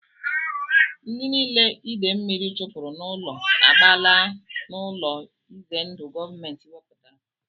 Ndị niile ide mmiri chụpụrụ n'ụlọ agbaala n'ụlọ ize ndụ gọọmenti wepụtara